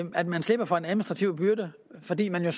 at man slipper for en administrativ byrde fordi man jo